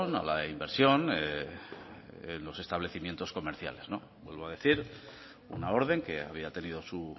a la inversión de los establecimientos comerciales vuelvo a decir una orden que había tenido su